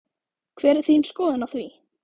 Hver er þín skoðun á því?